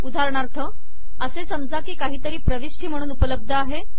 उदाहरणार्थ असे समजा की काहीतरी प्रविष्टी म्हणून उपलब्ध आहे